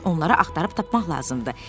onları axtarıb tapmaq lazımdır.